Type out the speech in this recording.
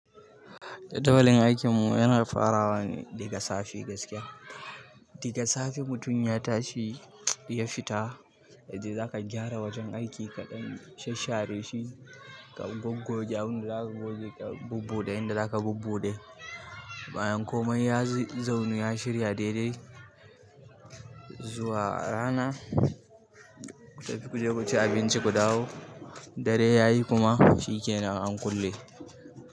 Tabalin aikinmu yana farawa daga safe gaskiya. Daga safe mutum ya tashi ya fita, zaka gyara wajen aiki kaɗan, shasshare shi, ka goggoge abinda zaka goggoge, ka bubbuɗe abinda zaka bubbuɗe. Bayan komai ya zaunu ya shirya daidai, zuwa rana, ku tafi ku je ku ci abinci ku dawo. Dare yayi kuma shi kenan an kulle.